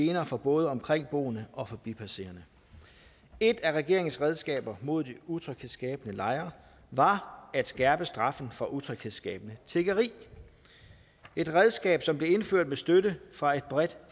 gener for både omkringboende og forbipasserende et af regeringens redskaber mod de utryghedsskabende lejre var at skærpe straffen for utryghedsskabende tiggeri et redskab som blev indført med støtte fra et bredt